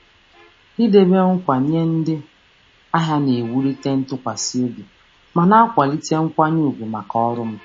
Ịnọgide na-ekwe nkwa nye ndị ahịa na-ewulite ntụkwasị obi ma na-akwado nkwanye ùgwù maka ọrụ m.